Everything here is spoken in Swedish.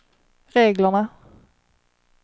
reglerna